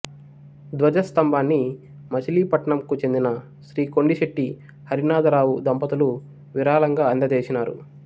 ధ్వజస్తంభాన్ని మచిలీపట్నంకు చెందిన శ్రీ కొండిశెట్టి హరినాధరావు దంపతులు విరాళంగా అందజేసినారు